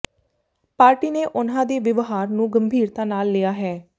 party ਨੇ ਉਨ੍ਹਾਂ ਦੇ ਵਿਵਹਾਰ ਨੂੰ ਗੰਭੀਰਤਾ ਨਾਲ ਲਿਆ ਹੈ